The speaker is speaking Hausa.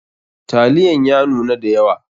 Taliyan ya nuna da yawa.